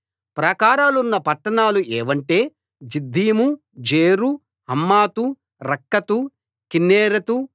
ప్రాకారాలున్న పట్టణాలు ఏవంటే Ziddim Zer Hammath Rakkath కిన్నెరెతు